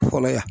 Fɔlɔ yan